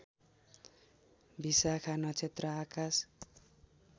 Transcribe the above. विशाखा नक्षत्र आकाश